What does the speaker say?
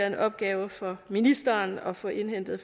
en opgave for ministeren at få indhentet